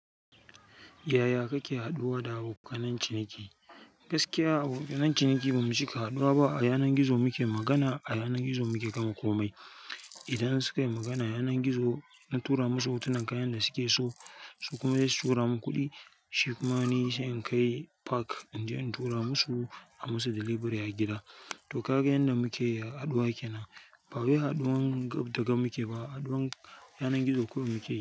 Yaya kake haɗuwa da abokan ciniki? Gaskiya abokan ciniki bamu cika haɗuwa ba. A yanar gizo muke magana, a yanar gizo muke gama komai. Idan suka yi magana a yanar gizo, na tura musu hotunan kayan da suke so, su kuma zasu tura mu kuɗi. Shi kuma ni sai in kai park in tura musu, a musu delivery a gida. To, kaga yanda muke haɗuwa kenan. Bawai haduwan gab da gab muke ba, haduwan yanar gizo kawai muke yi.